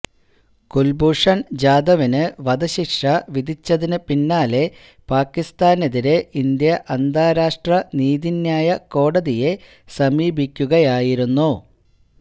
കുല്ഭൂഷണ് ജാദവിന് വധശിക്ഷ വിധിച്ചതിന് പിന്നാലെ പാകിസ്താനെതിരേ ഇന്ത്യ അന്താരാഷ്ട്ര നീതിന്യായ കോടതിയെ സമീപിക്കുകയായിരുന്നു